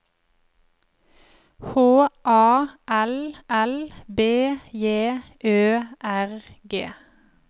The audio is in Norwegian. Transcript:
H A L L B J Ø R G